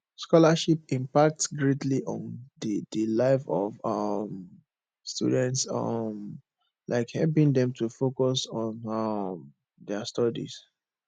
scholarships impact greatly on di di life of um students um like helping dem to focus on um dia studies